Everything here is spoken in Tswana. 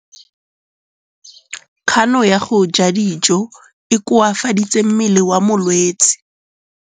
Kganô ya go ja dijo e koafaditse mmele wa molwetse.